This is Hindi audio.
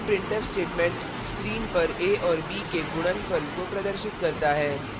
यह printf statement screen पर a और b के गुणनफल को प्रदर्शित करता है